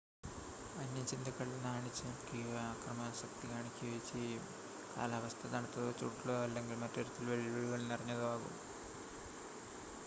വന്യജന്തുക്കൾ നാണിച്ചുനിൽക്കുകയോ അക്രമാസക്തി കാണിക്കുകയോ ചെയ്യും കാലാവസ്ഥ തണുത്തതോ ചൂടുള്ളതോ അല്ലെങ്കിൽ മറ്റുതരത്തിൽ വെല്ലുവിളികൾ നിറഞ്ഞതോ ആകും